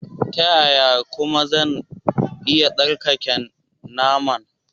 Ta yaya kuma zan iya tsarkake naman?